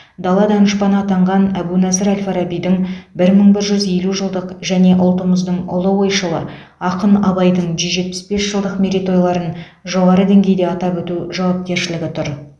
дала данышпаны атанған әбу насыр әл фарабидің бір мың бір жүз елу жылдық және ұлтымыздың ұлы ойшылы ақын абайдың жүз жетпіс бес жылдық мерейтойларын жоғары деңгейде атап өту жауапкершілігі тұр